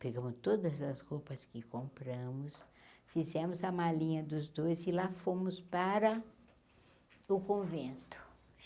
Pegamos todas as roupas que compramos, fizemos a malinha dos dois e lá fomos para o convento.